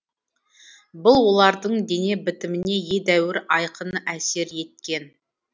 бұл олардың дене бітіміне едәуір айқын әсер еткен